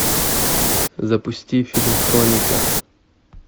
запусти фильм хроника